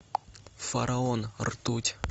фараон ртуть